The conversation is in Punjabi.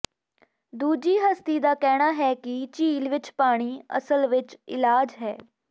ਦੂਜੀ ਹਸਤੀ ਦਾ ਕਹਿਣਾ ਹੈ ਕਿ ਝੀਲ ਵਿਚ ਪਾਣੀ ਅਸਲ ਵਿਚ ਇਲਾਜ ਹੈ